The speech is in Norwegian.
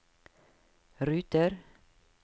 ruter